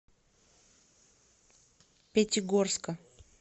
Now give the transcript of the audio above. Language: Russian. пятигорска